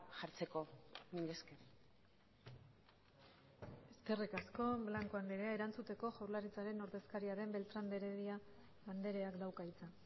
jartzeko mila esker eskerrik asko blanco andrea erantzuteko jaurlaritzaren ordezkaria den beltrán de heredia andreak dauka hitza